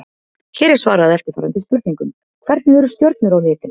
Hér er svarað eftirfarandi spurningum: Hvernig eru stjörnur á litinn?